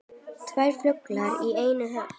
Tvær flugur í einu höggi.